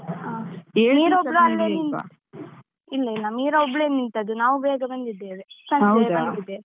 ಹಾ. ಮೀರಾ ಒಬ್ಳು ಅಲ್ಲೇ ನಿಂ ಇಲ್ಲ ಇಲ್ಲ. ಮೀರಾ ಒಬ್ಳೆ ನಿಂತದ್ದು, ನಾವು ಬೇಗ ಬಂದಿದ್ದೇವೆ. ಸಂಜೆಯೇ ಬಂದಿದ್ದೇವೆ.